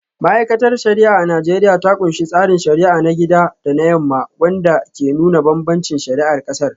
Ma’aikatar shari’a a Najeriya ta kunshi tsarin shari’a na gida da na yamma, wanda ke nuna bambancin shari’ar kasar.